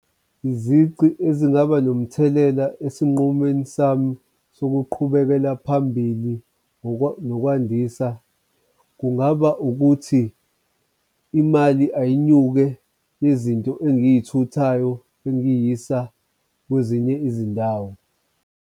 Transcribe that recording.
Izici ezingaba nomthelela esinqumeni sami sokuqhubekela phambili ngokwandisa kungaba ukuthi imali ayinyuke, izinto engiy'thuthayo engiyisa kwezinye izindawo.